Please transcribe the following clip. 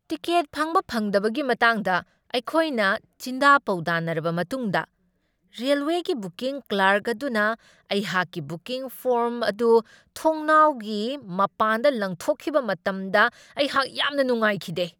Ticket ꯐꯪꯕ ꯐꯪꯗꯕꯒꯤ ꯃꯇꯥꯡꯗ ꯑꯩꯈꯣꯏꯅ ꯆꯤꯟꯗꯥ ꯄꯥꯎꯗꯥꯅꯔꯕ ꯃꯇꯨꯡꯗ ꯔꯦꯜꯋꯦꯒꯤ ꯕꯨꯀꯤꯡ ꯀ꯭ꯂꯥꯔꯛ ꯑꯗꯨꯅ ꯑꯩꯍꯥꯛꯀꯤ ꯕꯨꯀꯤꯡ ꯐꯣꯔ꯭ꯝ ꯑꯗꯨ ꯊꯣꯡꯅꯥꯎꯒꯤ ꯃꯄꯥꯟꯗ ꯂꯪꯊꯣꯛꯈꯤꯕ ꯃꯇꯝꯗ ꯑꯩꯍꯥꯛ ꯌꯥꯝꯅ ꯅꯨꯡꯉꯥꯏꯈꯤꯗꯦ ꯫